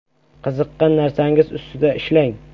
Qiziqqan narsangiz ustida ishlang.